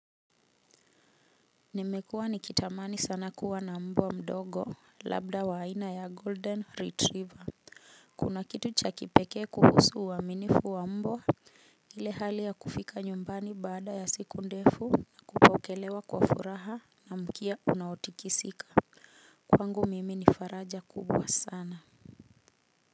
Nimekuwa nikitamani sana kuwa na mbwa mdogo labda wa aina ya golden retriever. Kuna kitu cha kipekee kuhusu uaminifu wa mbwa. Ile hali ya kufika nyumbani baada ya siku ndefu, kupokelewa kwa furaha na mkia unaotikisika. Kwangu mimi ni faraja kubwa sana.